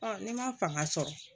ni ma fanga sɔrɔ